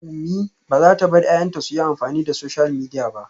Umi bazata bar 'ya'yanta suyi amfani da social media ba